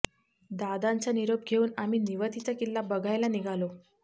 दादांचा निरोप घेऊन आम्ही निवतीचा किल्ला बघायला निघालो